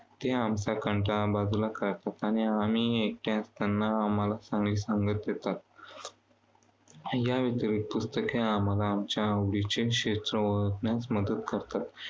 ते आमचा कंटाळा बाजूला काढतात आणि आम्ही एकटे असताना आम्हाला चांगली संगत देतात. या व्यतिरिक्त पुस्तके आम्हाला क्षेत्र ओळखण्यास मदत करतात.